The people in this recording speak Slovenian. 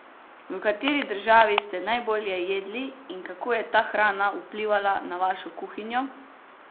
V kateri državi ste najbolje jedli in kako je ta hrana vplivala na vašo kuhinjo?